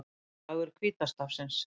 Dagur hvíta stafsins